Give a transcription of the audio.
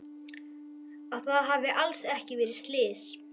Að það hafi alls ekki verið slys.